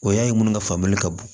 O y'a ye minnu ka famuya ka bon